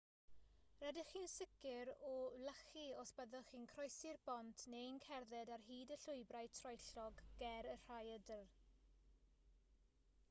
rydych chi'n sicr o wlychu os byddwch chi'n croesi'r bont neu'n cerdded ar hyd y llwybrau troellog ger y rhaeadr